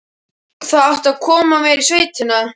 Það átti að koma mér í sveitina.